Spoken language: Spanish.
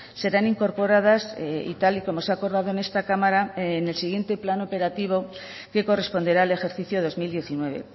serán incorporadas y tal y como se ha acordado en esta cámara en el siguiente plan operativo que corresponderá al ejercicio dos mil diecinueve